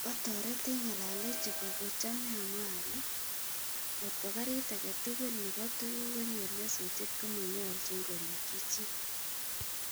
Otoroti ngalalenyu ko kochomei amwa ale ngotko Garit age tugul nebo tuguk konyor nyasutiet komonyolchin korikchi chi